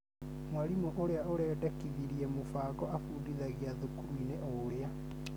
Mwarimũ ũrĩa ũrendekithirie mũbango abundithagia thukuru-inĩ ũrĩa